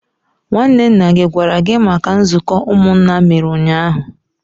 nwanne nna gi gwara gi maka nzuko umunna a mere unyahu?